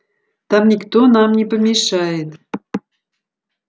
там никто нам не помешает